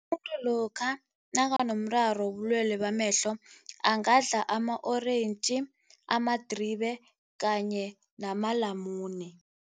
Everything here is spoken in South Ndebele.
lokha nakanomraro wobulwele bamehlo angadla ama-orentji, amadribe kanye namalamune.